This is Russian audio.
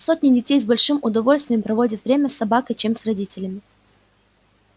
сотни детей с большим удовольствием проводят время с собакой чем с родителями